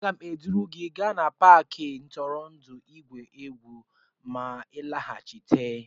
Aga m eduru gị gaa n'Paakị ntụrụndụ igwu egwu ma m nlaghachite